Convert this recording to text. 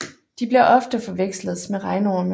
De bliver ofte forveksles med regnorme